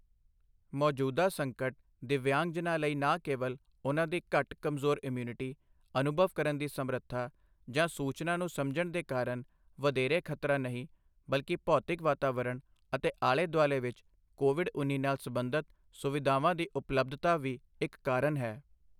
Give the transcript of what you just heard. ਮੌਜੂਦਾ ਸੰਕਟ ਦਿਵਯਾਂਗਜਨਾਂ ਲਈ ਨਾ ਕੇਵਲ ਉਨ੍ਹਾਂ ਦੀ ਘੱਟ ਕਮਜ਼ੋਰ ਇਮਿਊਨਿਟੀ, ਅਨੁਭਵ ਕਰਨ ਦੀ ਸਮਰੱਥਾ ਜਾਂ ਸੂਚਨਾ ਨੂੰ ਸਮਝਣ ਦੇ ਕਾਰਨ ਵਧੇਰੇ ਖ਼ਤਰਾ ਨਹੀਂ ਬਲਕਿ ਭੌਤਿਕ ਵਾਤਾਵਰਨ ਅਤੇ ਆਲੇ ਦੁਆਲੇ ਵਿੱਚ ਕੋਵਿਡ ਉੱਨੀ ਨਾਲ ਸਬੰਧਤ ਸੁਵਿਧਾਵਾਂ ਦੀ ਉਪਲੱਭਧਤਾ ਵੀ ਇਕ ਕਾਰਨ ਹੈ।